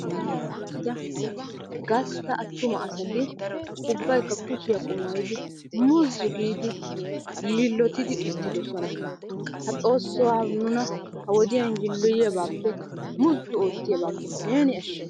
Maaraara uttida gastta attuma asati ubbaykka kushiya qumaayyidi muzzu giidi yiillotidi uttidosona. XOOSSO nuna ha wodiyan yiilloyiyabaappe muzzu oottiyabaappe neeni ashsha.